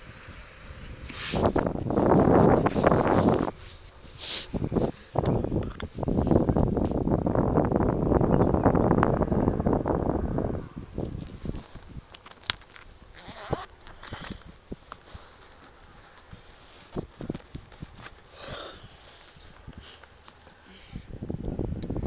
lolusito lutsatsa sikhatsi